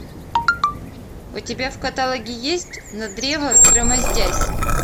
у тебя в каталоге есть на древо взгромоздясь